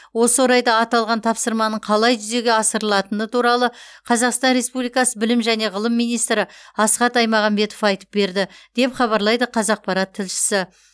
осы орайда аталған тапсырманың қалай жүзеге асырылатыны туралы қазақстан республикасы білім және ғылым министрі асхат айтмағамбетов айтып берді деп хабарлайды қазақпарат тілшісі